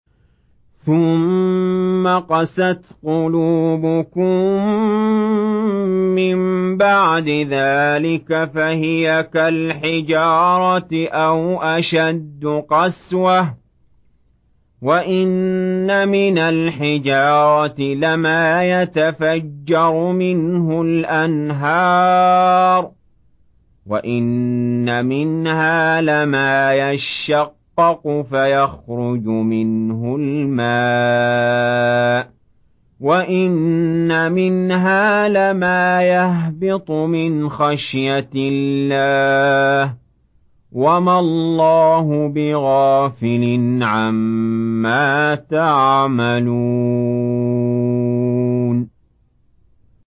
ثُمَّ قَسَتْ قُلُوبُكُم مِّن بَعْدِ ذَٰلِكَ فَهِيَ كَالْحِجَارَةِ أَوْ أَشَدُّ قَسْوَةً ۚ وَإِنَّ مِنَ الْحِجَارَةِ لَمَا يَتَفَجَّرُ مِنْهُ الْأَنْهَارُ ۚ وَإِنَّ مِنْهَا لَمَا يَشَّقَّقُ فَيَخْرُجُ مِنْهُ الْمَاءُ ۚ وَإِنَّ مِنْهَا لَمَا يَهْبِطُ مِنْ خَشْيَةِ اللَّهِ ۗ وَمَا اللَّهُ بِغَافِلٍ عَمَّا تَعْمَلُونَ